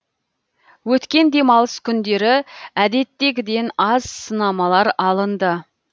өткен демалыс күндері әдеттегіден аз сынамалар алынды